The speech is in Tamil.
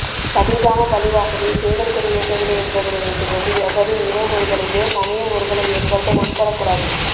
கதிர்காம பள்ளிவாசலில் சேவல் கொடி ஏற்றவில்லை என்பதனை வைத்து கொண்டு எவரும் இன முறுகலையோ சமய முறுகலை ஏற்படுத்த முற்படக்கூடாது